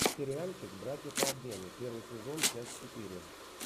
сериальчик братья по обмену первый сезон часть четыре